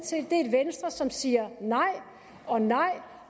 venstre som siger nej og nej